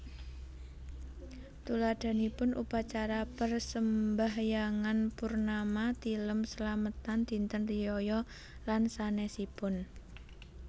Tuladhanipun Upacara Persembahyangan Purnama Tilem slametan Dinten riyaya lan sanésipun